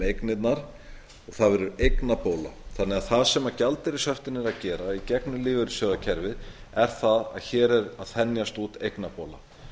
eignirnar og það verður eignabóla þannig að það sem gjaldeyrishöftin eru að gera í gegnum lífeyrissjóðakerfið er það að hér er að þenjast út eignabóla